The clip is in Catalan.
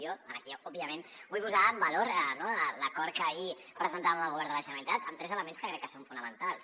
jo aquí òbviament vull posar en valor l’acord que ahir presentàvem al govern de la generalitat amb tres elements que crec que són fonamentals